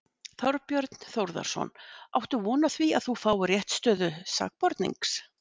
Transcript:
Þorbjörn Þórðarson: Áttu von á því að þú fáir réttarstöðu sakbornings?